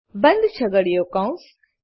બંધ છગડીયો કૌંસ